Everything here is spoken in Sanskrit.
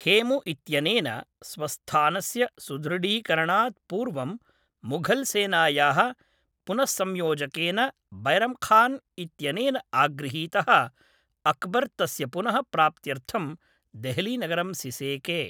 हेमु इत्यनेन स्वस्थानस्य सुदृढीकरणात् पूर्वं मुघल् सेनायाः पुनस्संयोजकेन बैरम् खान् इत्यनेन आगृहीतः अक्बर् तस्य पुनः प्राप्त्यर्थं देहलीनगरं सिसेके।